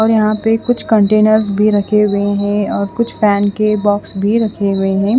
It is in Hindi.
और यहाँ पे कुछ कंटेनर्स भी रखे हुए है और कुछ पेन के बॉक्स भी रखे हुए है।